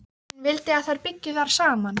Hún vildi að þær byggju þar saman.